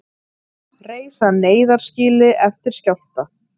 Reisa neyðarskýli eftir skjálfta